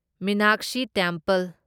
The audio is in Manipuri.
ꯃꯤꯅꯥꯛꯁꯤ ꯇꯦꯝꯄꯜ